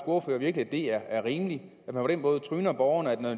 ordfører virkelig at det er er rimeligt at man på den måde tryner borgerne